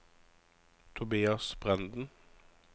Tobias Brenden